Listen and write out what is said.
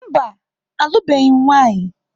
Mba, alụbeghị m nwanyị.